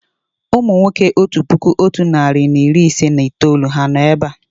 Ụmụ nwoke otu puku otu narị na iri ise na itoolu ha nọ̀ èbé à?